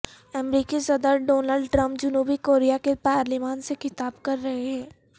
مریکی صدر Donald Trump جنوبی Korea کی پارلیمان سے خطاب کر رہے ہیں